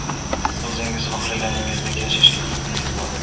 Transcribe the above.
Siz o‘zingiz xohlaganingizdek yashashga haqingiz bor.